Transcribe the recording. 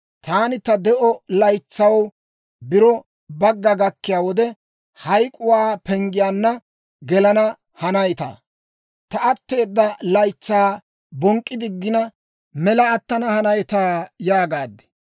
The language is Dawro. Taani, «Ta de'o laytsaw biro bagga gakkiyaa wode, hayk'k'uwaa penggiyaanna gelana hanaytaa? Ta atteeda laytsaa bonk'k'i diggina, mela attana hanaytaa?» yaagaad.